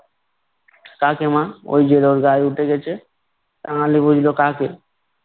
কাকে মা? ওই যে ওর গায়ে উঠে গেছে। কাঙালি বুঝলো কাকে।